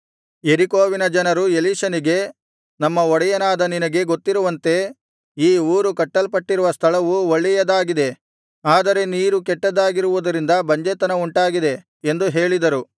ಯೆರಿಕೋವಿನ ಜನರು ಎಲೀಷನಿಗೆ ನಮ್ಮ ಒಡೆಯನಾದ ನಿನಗೆ ಗೊತ್ತಿರುವಂತೆ ಈ ಊರು ಕಟ್ಟಲ್ಪಟ್ಟಿರುವ ಸ್ಥಳವು ಒಳ್ಳೆಯದಾಗಿದೆ ಆದರೆ ನೀರು ಕೆಟ್ಟದ್ದಾಗಿರುವುದರಿಂದ ಬಂಜೆತನ ಉಂಟಾಗಿದೆ ಎಂದು ಹೇಳಿದರು